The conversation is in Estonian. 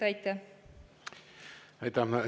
Aitäh!